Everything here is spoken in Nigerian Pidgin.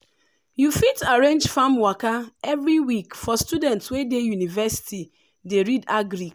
you fit arrange farm waka every week for students wey dey university dey read agric.